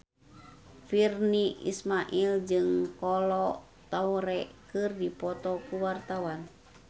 Virnie Ismail jeung Kolo Taure keur dipoto ku wartawan